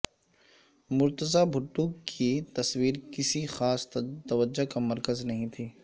مرتضی بھٹو کی تصویر کسی خاص توجہ کا مرکز نہیں تھی